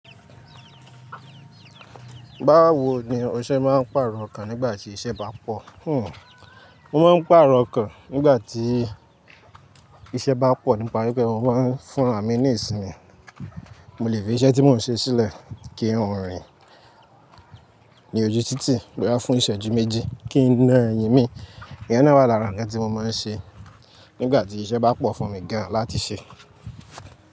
Báwo ni ọ̀ṣẹ máa ń pàrọ̀ okàn nígbà tí iṣẹ́ bá pọ̀? Mo máa ń pàrọ̀ okàn nígbà tí iṣẹ́ bá pọ̀ nípa wípé mo máa ń fún àmì ní ìsinmi. Mo lè fi iṣẹ́ tí mò ń ṣe sílẹ̀ kí kan rìn ní ojú títì bọya fún ìṣẹ́ ju méjì kí n na ẹyin mi. Ìyena wa làrán nǹkan tí mo máa ń ṣe nígbà tí iṣẹ́ bá pọ̀ fún mi gan láti ṣe.